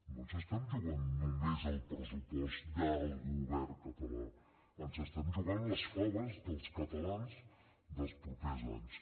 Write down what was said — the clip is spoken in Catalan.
no ens estem jugant només el pressupost del govern català ens estem jugant les faves dels catalans dels propers anys